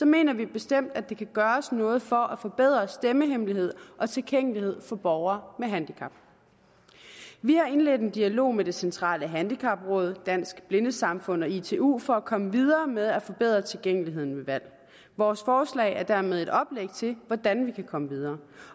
mener vi bestemt at der kan gøres noget for at forbedre stemmehemmelighed og tilgængelighed for borgere med handicap vi har indledt en dialog med det centrale handicapråd dansk blindesamfund og itu for at komme videre med at forbedre tilgængeligheden ved valg vores forslag er dermed et oplæg til hvordan man kan komme videre